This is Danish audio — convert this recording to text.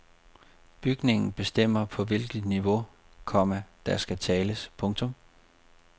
Bygningen bestemmer på hvilket niveau, komma der skal tales. punktum